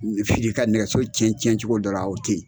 Fili ka nɛgɛso cɛn cɛn cogo dɔ ra o tɛ yen.